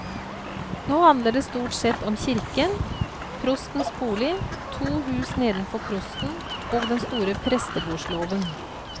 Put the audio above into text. Nå handler det stort sett om kirken, prostens bolig, to hus nedenfor prosten og den store prestegårdslåven.